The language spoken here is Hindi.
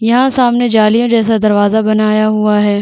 यहाँ सामने जालियाँ जैसा दरवाजा बनाया हुआ है।